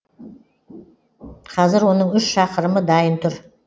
қазір оның үш шақырымы дайын тұр